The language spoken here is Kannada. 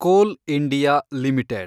Kol India limited